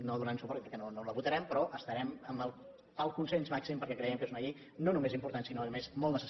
no donant suport perquè no la votarem però estarem pel consens màxim perquè creiem que és una llei no només important sinó a més molt necessària i urgent